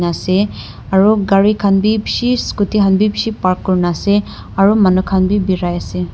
ase aru gari khan bhi bishi scooty khan bhi bishi park kori kina ase aru manu khan bhi berai se.